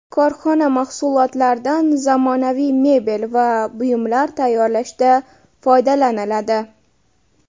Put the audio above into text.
Korxona mahsulotlaridan zamonaviy mebel va buyumlar tayyorlashda foydalaniladi.